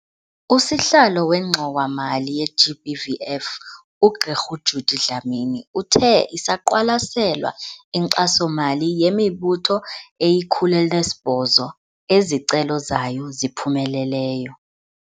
Usihlalo weNgxowa-mali ye-GBVF, uGq Judy Dlamini, uthe isaqwalaselwa inkxaso-mali yemibutho eyi-108 ezicelo zayo ziphumeleleyo.